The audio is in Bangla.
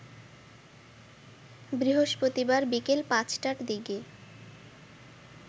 বৃহস্পতিবার বিকেল ৫টার দিকে